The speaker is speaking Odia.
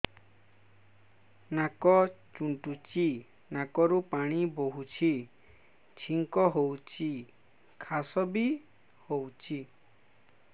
ନାକ ଚୁଣ୍ଟୁଚି ନାକରୁ ପାଣି ବହୁଛି ଛିଙ୍କ ହଉଚି ଖାସ ବି ହଉଚି